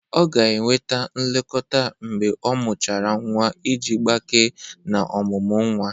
Ọ ga-enweta nlekọta mgbe ọmuchara nwa iji agbake na omụmu nwa.